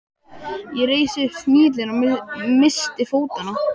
Ég reis upp, snigillinn missti fótanna.